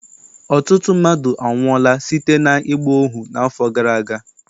Ọtụtụ mmadụ anwụọla site n'ịgba ohu n'afọ gara aga.